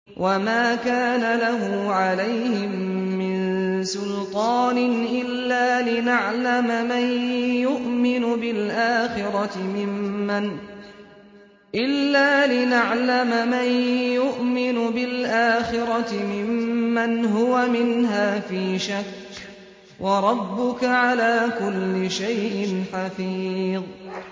وَمَا كَانَ لَهُ عَلَيْهِم مِّن سُلْطَانٍ إِلَّا لِنَعْلَمَ مَن يُؤْمِنُ بِالْآخِرَةِ مِمَّنْ هُوَ مِنْهَا فِي شَكٍّ ۗ وَرَبُّكَ عَلَىٰ كُلِّ شَيْءٍ حَفِيظٌ